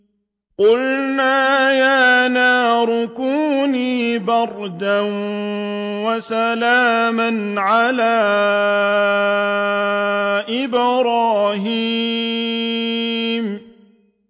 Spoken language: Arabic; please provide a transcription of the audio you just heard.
قُلْنَا يَا نَارُ كُونِي بَرْدًا وَسَلَامًا عَلَىٰ إِبْرَاهِيمَ